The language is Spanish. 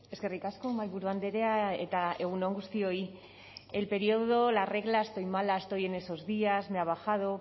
eskerrik asko mahaiburu andrea eta egun on guztioi el periodo la regla estoy mala estoy en esos días me ha bajado